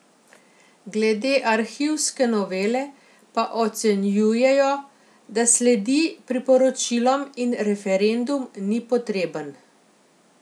Glede arhivske novele pa ocenjujejo, da sledi priporočilom in referendum ni potreben.